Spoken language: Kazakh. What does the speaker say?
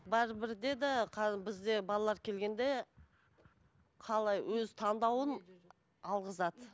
бірібір де де қазір бізде балалар келгенде қалай өз таңдауын алғызады